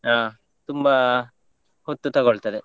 ಹ, ತುಂಬಾ ಹೊತ್ತು ತಗೋಳ್ತದೆ.